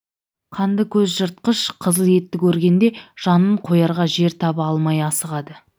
қанды көз жыртқыш қызыл етті көргенде жанын қоярға жер таба алмай асығады